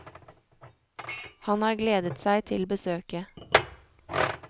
Han har gledet seg til besøket.